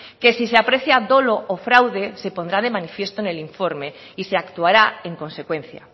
que si se aprecia dolo o fraude se pondrá de manifiesto en el informe y se actuará en consecuencia